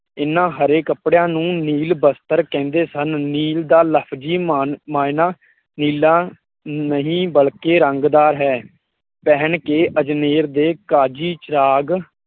ਇਹਨਾਂ ਹਰੇ ਕੱਪੜਿਆਂ ਨੂੰ ਨੀਲ ਬਸਤਰ ਕਹਿੰਦੇ ਸਨ। ਨੀਲ ਦਾ ਲਫਜ਼ੀ ਮਾ ਮਾਇਨਾ ਨੀਲਾ ਨਹੀਂ ਬਲਕਿ ਰੰਗ ਦਾ ਹੈ। ਪਹਿਨ ਕੇ ਅਜਮੇਰ ਦੇ ਕਾਜੀ ਚਿਰਾਗ